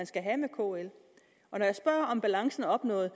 skal være med kl når jeg spørger om balancen er opnået